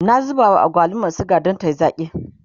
na zuba wa agwalumar suga Dan tayi zaki